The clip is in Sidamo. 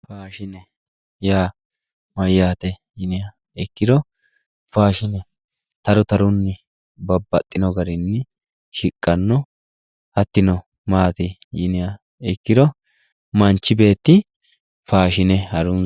Faashine yaa mayate yinniha ikkiro faashine taru tarunni babbaxino garinni shiqqano hatino maati yinniha ikkiro manchi beetti faashine harunsano.